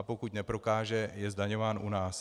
A pokud neprokáže, je zdaňován u nás.